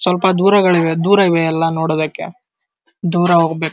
ಸ್ವಲ್ಪ ದೂರಗಳಿವೆ ದೂರ ಇವೆ ಎಲ್ಲ ನೋಡೋಕೆ ದೂರ ಹೋಗ್ಬೇಕು --